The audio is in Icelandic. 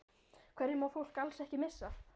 Hverju má fólk alls ekki missa af?